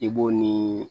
I b'o ni